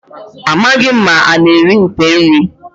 Amaghị m ma ana eri nte eri.